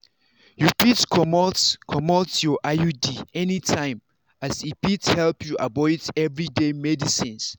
you fit comot comot your iud anytime as e fit help you avoid everyday medicines.